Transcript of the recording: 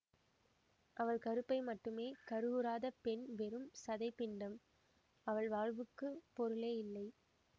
அவள் கருப்பை மட்டுமே கருவுறாத பெண் வெறும் சதைப்பிண்டம் அவள் வாழ்வுக்குப் பொருளே இல்லை